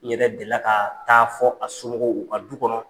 N ne yɛrɛ deli la ka taa fɔ a somɔgɔw u ka du kɔnɔ.